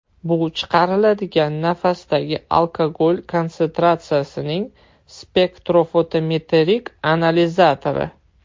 Bu chiqariladigan nafasdagi alkogol konsentratsiyasining spektrofotometrik analizatori.